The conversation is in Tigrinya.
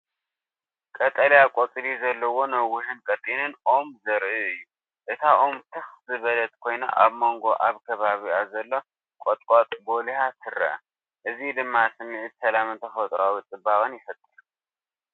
ቀጠልያ ቆጽሊ ዘለዎ ነዊሕን ቀጢንን ኦም ዘርኢ እዩ። እታ ኦም ትኽ ዝበለት ኮይና ኣብ መንጎ ኣብ ከባቢኣ ዘሎ ቁጥቋጥ ጐሊሃ ትርአ። እዚ ድማ ስምዒት ሰላምን ተፈጥሮኣዊ ጽባቐን ይፈጥር።